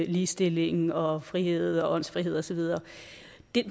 ligestilling og frihed og åndsfrihed og så videre